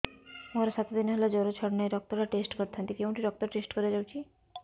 ମୋରୋ ସାତ ଦିନ ହେଲା ଜ୍ଵର ଛାଡୁନାହିଁ ରକ୍ତ ଟା ଟେଷ୍ଟ କରିଥାନ୍ତି କେଉଁଠି ରକ୍ତ ଟେଷ୍ଟ କରା ଯାଉଛି